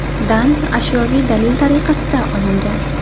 dan ashyoviy dalil tariqasida olingan.